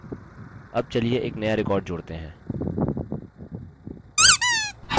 add चलिए एक now record जोड़ते हैं